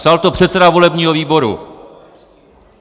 Psal to předseda volebního výboru.